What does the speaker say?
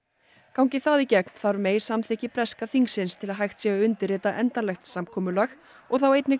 gangi það í gegn þarf May samþykkt breska þingsins til þess að hægt sé að undirrita endanlegt samkomulag og þá einnig